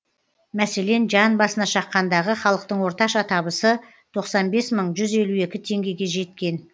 мәселен жан басына шаққандағы халықтың орташа табысы тоқсан бес мың жүз елу екі теңгеге жеткен